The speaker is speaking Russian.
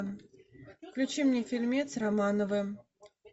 включи мне фильмец романовы